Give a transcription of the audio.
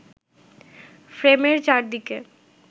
ফ্রেমের চারদিকে